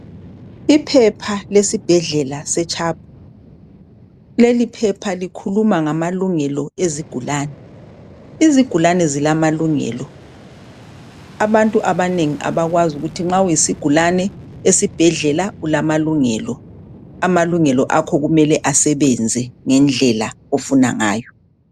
Iphepha lesibhedlela setshapu, leliphepha likhuluma ngalungelo ezigulane. Izigulane zilamalungelo , abantu abanengi abakwazi ukuthi nxa uyisigulne esibhedlela ulamalungelo. Amalungelo akho kumele asebenze ngendlela ofunangayo.